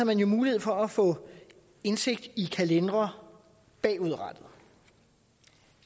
man jo mulighed for at få indsigt i kalendere bagudrettet